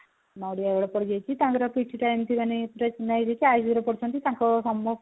ପଡିଯାଇଛି ତାଙ୍କର କିଛିଟା ଏମିତି ମାନେ operation ହେଇଯାଇଛି ICU ରେ ପଡିଛନ୍ତି ତାଙ୍କ